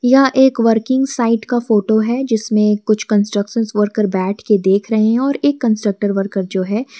यह एक working site का फोटो है जिसमें कुछ कंस्ट्रक्शन्स वर्कर बैठ के देख रहे हैं और एक कंस्ट्रक्टर वर्कर जो है--